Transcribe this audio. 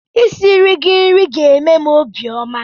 I siri gị nri ga-eme m obiọma.